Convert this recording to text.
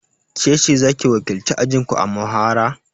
Kece zaki wakilci ajinku a muhawara?